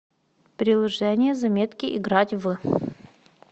приложение заметки играть в